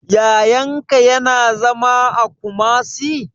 Yayan ka ya na zama a Kumasi?